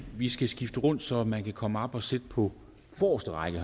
vi skal skifte rundt så man kan komme op og side på forreste række